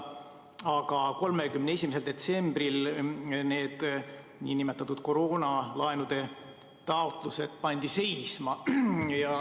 Aga 31. detsembril need nn koroonalaenude taotlused pandi seisma.